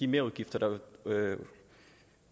merudgifter der